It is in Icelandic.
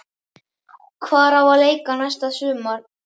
Hvar á að leika næsta sumar?